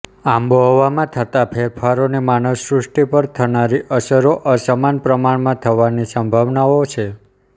આબોહવામાં થતા ફેરફારોની માનવસૃષ્ટિ પર થનારી અસરો અસમાન પ્રમાણમાં થવાની સંભાવનાઓ છે